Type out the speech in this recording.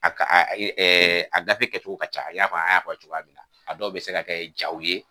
A ka a gafe kɛcogo ka ca i y'a fɔ a' y'a fɔ cogoya min na a dɔw bɛ se ka kɛ jaw ye